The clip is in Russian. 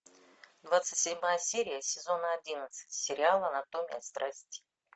двадцать седьмая серия сезона одиннадцать сериал анатомия страсти